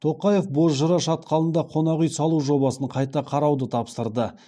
тоқаев бозжыра шатқалында қонақ үй салу жобасын қайта қарауды тапсырды